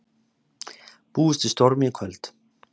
Búist við stormi í kvöld